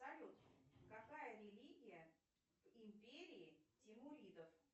салют какая религия в империи тимуридов